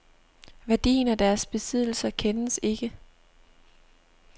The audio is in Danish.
Værdien af deres besiddelser kendes ikke.